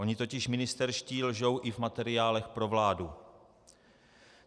Oni totiž ministerští lžou i v materiálech pro vládu.